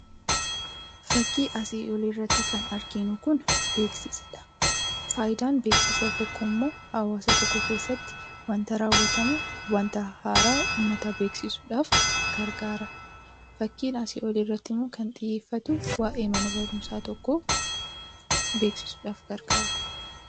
Fakkii asii olii irratti kan arginu kun beeksisadha. Faayidaan beeksisa tokkoo immoo hawaasa tokko keessatti waanta raawwatamu, waanta haaraa uummata beeksisuudhaaf gargaara. Fakkiin asii oliirratti immoo kan xiyyeeffatu waa'ee mana barumsaa tokkoo beeksisuudhaaf gargaara.